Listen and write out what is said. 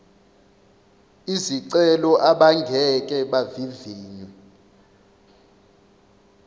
izicelo abangeke bavivinywe